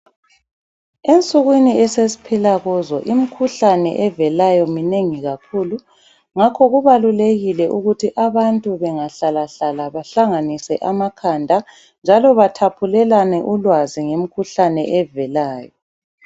Ensukwini esesphila kuzo imikhuhlane evelayo minengi kakhulu ngakho kubalulekile ukuthi abantu bengahlalahlala bahlanganise amakhanda njalo bathaphulelane ulwazi ngemikhuhlane evelayo.